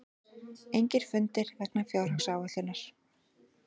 Engir fundir vegna fjárhagsáætlunar